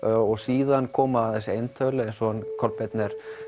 og síðan koma þessi eintöl eins og Kolbeinn